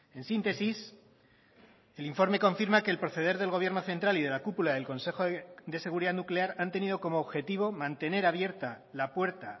en síntesis el informe confirma que el proceder del gobierno central y de la cúpula del consejo de seguridad nuclear han tenido como objetivo mantener abierta la puerta